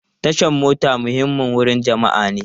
Tashan mota muhimmin wurin jama'a ne.